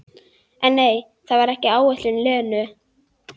Þeim sem sváfu hjá henni, áður en ég kynntist henni.